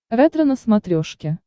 ретро на смотрешке